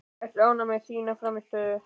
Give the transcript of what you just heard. Ertu ánægð með þína frammistöðu?